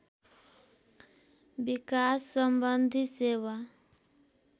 विकास सम्बन्धी सेवा